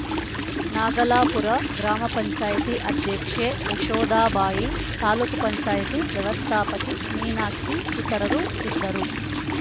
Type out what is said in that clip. ನಾಗಲಾಪುರ ಗ್ರಾಮ ಪಂಚಾಯತಿ ಅಧ್ಯಕ್ಷೆ ಯಶೋದಾಬಾಯಿ ತಾಲೂಕ್ ಪಂಚಾಯತಿ ವ್ಯವಸ್ಥಾಪಕಿ ಮೀನಾಕ್ಷಿ ಇತರರು ಇದ್ದರು